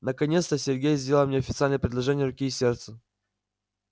наконец-то сергей сделал мне официальное предложение руки и сердца